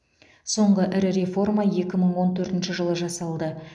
соңғы ірі реформа екі мың он төртінші жылы жасалды